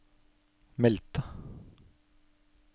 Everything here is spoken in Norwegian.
meldte